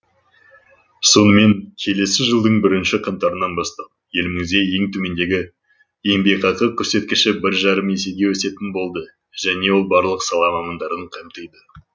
сонымен келесі жылдың бірінші қаңтарынан бастап елімізде ең төмендегі еңбекақы көрсеткіші бір жарым есеге өсетін болды және ол барлық сала мамандарын қамтиды